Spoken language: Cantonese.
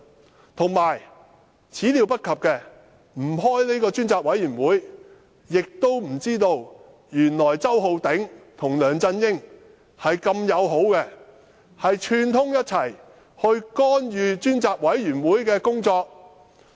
再者，我們沒料到若非召開專責委員會會議，也不會知道周浩鼎議員跟梁振英的友好關係，竟然串通干預專責委員會的工作。